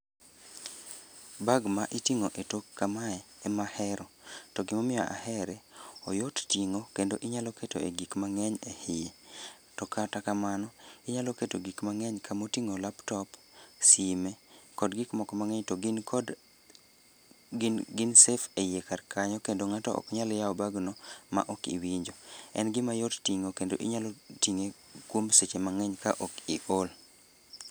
Bag ma iting'o e tok kamae, ema ahero. To gimomiyo ahere, oyot ting'o kendo inyalo keto e gik mang'eny e hiye. To kata kamano, inyalo keto gik mang'eny ka moting'o laptop, sime, kod gik moko mang'eny to gin kod gin gin safe e iye kar kanyo kendo ng'ato ok nyal yaw bagno ma ok iwinjo. En gima yot ting'o kendo inyalo ting'e kuom seche mang'eny ka ok i ol